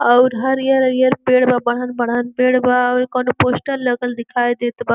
अउर हरियर-हरियर पेड़ बा| बढन-बढन पेड़ बा| अउर ई कउनो पोस्टर लगल दिखाई देत बा।